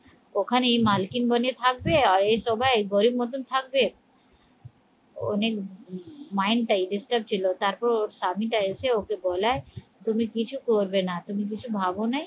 ওখানেই মালকিন বনে থাকবে, আর এ সবাই গরিব মতন থাকবে ওনেক mind টাই disturb ছিল তারপর ওর স্বামীটা এসে ওকে বলায় তুমি কিছু করবে না, তুমি কিছু ভাবো নাই